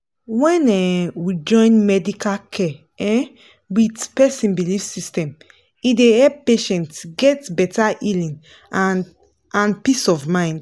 when um we join medical care um with person belief system e dey help patients get better healing and and peace of mind.